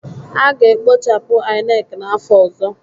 A ga-ekpochapụ INEC n'afọ ọzọ